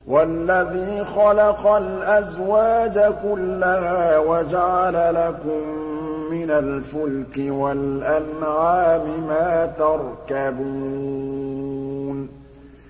وَالَّذِي خَلَقَ الْأَزْوَاجَ كُلَّهَا وَجَعَلَ لَكُم مِّنَ الْفُلْكِ وَالْأَنْعَامِ مَا تَرْكَبُونَ